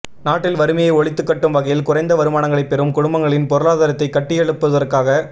நாட்டில் வறுமையை ஒழித்துக்கட்டும் வகையில் குறைந்த வருமானங்களைப் பெறும் குடும்பங்களின் பொருளாதாரத்தைக் கட்டியயழுப் புவதற்காக